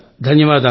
ధన్యవాదాలు